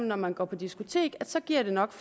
når man går på diskotek så giver det nok